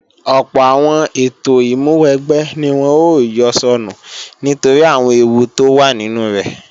Ọ̀pọ̀ àwọn ètò ìmúwẹgbẹ́ ni wọ́n ó yọ sọnù nítorí àwọn ewú tó wà nínú rẹ̀